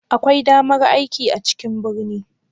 Akwai damar aiki a cikin birni?